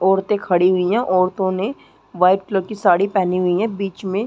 औरते खड़ी हुईं हैं औरतों ने वाइट क्लर की साड़ी पहनी हुईं हैं बीच में --